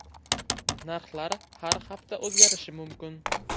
Narxlar har hafta o‘zgarishi mumkin.